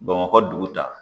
Bamakɔ dugu ta